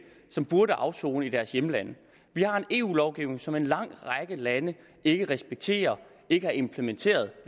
som burde afsone i deres hjemlande vi har en eu lovgivning som en lang række lande ikke respekterer og ikke har implementeret